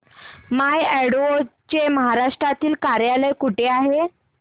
माय अॅडवो चे महाराष्ट्रातील कार्यालय कुठे आहे